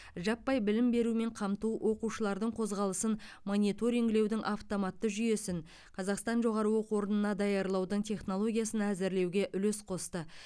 жаппай білім берумен қамту оқушылардың қозғалысын мониторингілеудің автоматты жүйесін қазақстан жоғары оқу орнына даярлаудың технологиясын әзірлеуге үлес қосты